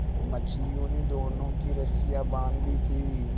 मछलियों ने दोनों की रस्सियाँ बाँध दी थीं